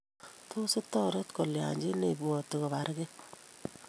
Tos itoret kolya chi ne ibwoti kobargee ?